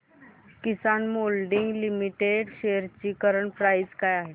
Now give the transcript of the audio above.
किसान moulding limited shares ची current price काय आहे